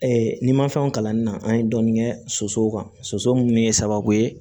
n'i ma fɛnw kalan na an ye dɔɔnin kɛ sosow kan soso min ye sababu ye